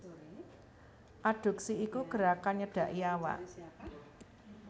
Adduksi iku gerakan nyedhaki awak